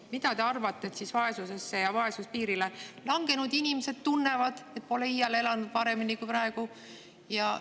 Mida te arvate, mida vaesusesse või vaesuspiirile langenud inimesed tunnevad, kui me pole iial elanud paremini kui praegu?